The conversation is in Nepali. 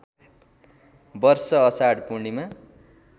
वर्ष अषाढ पूर्णिमा